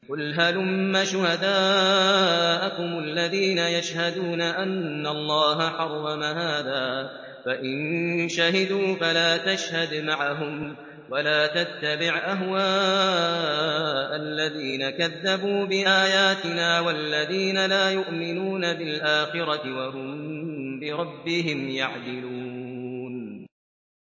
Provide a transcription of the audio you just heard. قُلْ هَلُمَّ شُهَدَاءَكُمُ الَّذِينَ يَشْهَدُونَ أَنَّ اللَّهَ حَرَّمَ هَٰذَا ۖ فَإِن شَهِدُوا فَلَا تَشْهَدْ مَعَهُمْ ۚ وَلَا تَتَّبِعْ أَهْوَاءَ الَّذِينَ كَذَّبُوا بِآيَاتِنَا وَالَّذِينَ لَا يُؤْمِنُونَ بِالْآخِرَةِ وَهُم بِرَبِّهِمْ يَعْدِلُونَ